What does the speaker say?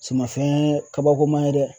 Sumanfɛn kabakoma ye dɛ.